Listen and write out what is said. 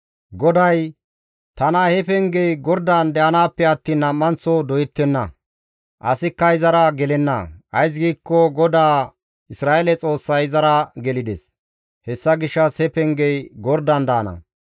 GODAY, «Tana ha pengey gordan de7anaappe attiin nam7anththo doyettenna. Asikka izara gelenna; ays giikko GODAA Isra7eele Xoossay izara gelides. Hessa gishshas he pengey gordan daana.